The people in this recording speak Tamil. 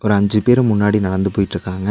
ஒரு அஞ்சு பேரு முன்னாடி நடந்து போயிட்ருக்காங்க.